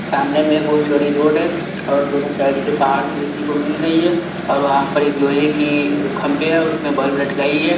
सामने में एक बहुत चौड़ी रोड हैऔर दोनों साइड से पहाड़ भी देखने को मिल रही है और वहाँ पर एक लोहे की खंबे हैउसमें बल्ब लटकाई है।